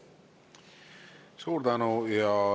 Suur tänu!